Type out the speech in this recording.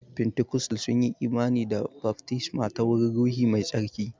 Fentikostal sunyi imani da baftisma ta wurin ruhi mai tsarki.